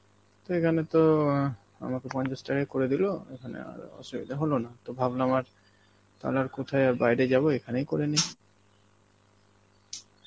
তো এখানে তো আঁ আমাকে পঞ্চাশ টাকায় করে দিলো এখানে আর অসুবিধা হলো না, তো ভাবলাম আর তাহলে আর কোথায় আর বাইরে যাব, এখানেই করেনি.